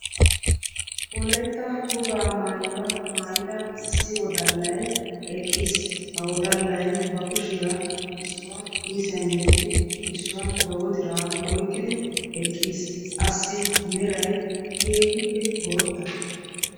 Wolaytta wogaa maayuwaa maayyida issi wodallay eqqis; ha wodallay ba kushiyaa issuwaa kiissiyaan yedidi issuwaa ba wodiraa oyqqidi eqqiis; assi meray keehippe bootta.